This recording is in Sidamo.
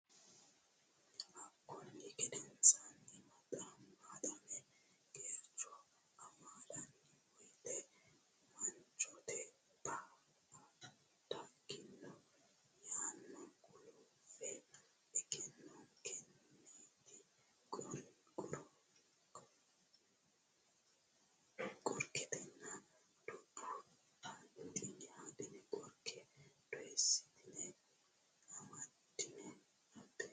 Hakkunni gedensaanni maaxame geercho amaallanni woyte manchote ba a dagginona ayno gulufe egenninokkiti qorketena dubbo hadhine qorke doyissitine amaddine abbe.